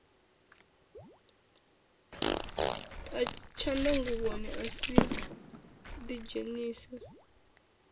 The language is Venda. a tshanḓnguvhoni a a ḓidzhenisa